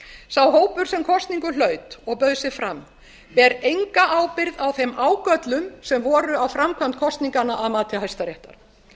sá hópur sem kosningu hlaut og bauð sig fram ber enga ábyrgð á þeim ágöllum sem voru á framkvæmd kosninganna að mati hæstaréttar